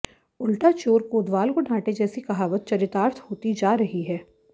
उल्टा चोर कोतवाल को डांटे जैसी कहावत चरितार्थ होती जा रही है